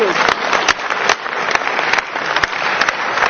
Este es un asunto que ya está en manos de los cuestores.